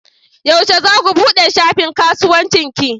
Yaushe za ku buɗe shafin kasuwancin ki?